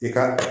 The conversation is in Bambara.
I ka